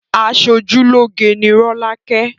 Aṣojúlóge ni rolake